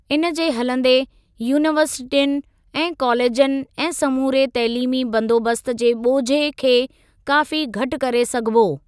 इनजे हलंदे यूनीवर्सिटियुनि ऐं कॉलेजनि ऐं समूरे तइलीमी बंदोबस्त जे ॿोझे खे काफ़ी घटि करे सघिबो।